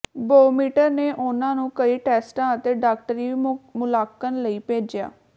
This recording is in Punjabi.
ਬੋਉਮਿਟਰ ਨੇ ਉਨ੍ਹਾਂ ਨੂੰ ਕਈ ਟੈਸਟਾਂ ਅਤੇ ਡਾਕਟਰੀ ਮੁਲਾਂਕਣ ਲਈ ਭੇਜਿਆ